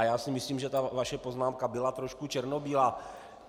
A já si myslím, že ta vaše poznámka byla trochu černobílá.